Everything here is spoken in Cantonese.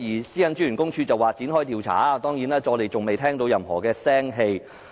私隱專員公署表示會展開調查，但至今仍未有任何消息。